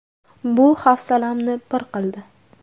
Bu hafsalamni pir qildi”.